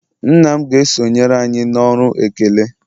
nna m ga-esonyere anyị na ọrụ ekele